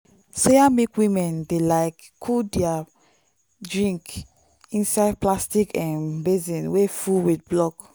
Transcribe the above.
soya milk women dey like cool their drink inside plastic um basin wey full with block.